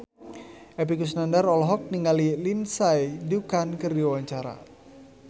Epy Kusnandar olohok ningali Lindsay Ducan keur diwawancara